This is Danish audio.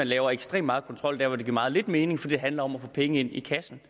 lavet ekstremt meget kontrol der hvor det giver meget lidt mening fordi det handler om at få penge i kassen